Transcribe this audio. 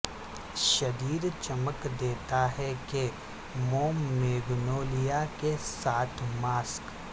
شدید چمک دیتا ہے کہ موم میگنولیا کے ساتھ ماسک